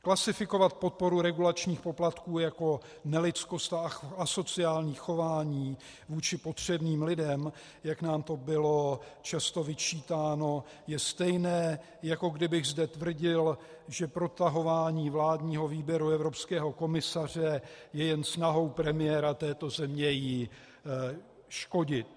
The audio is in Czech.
Klasifikovat podporu regulačních poplatků jako nelidskost a asociální chování vůči potřebným lidem, jak nám to bylo často vyčítáno, je stejné, jako kdybych zde tvrdil, že protahování vládního výběru evropského komisaře je jen snahou premiéra této země jí škodit.